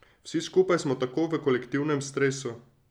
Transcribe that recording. Vsi skupaj smo tako v kolektivnem stresu.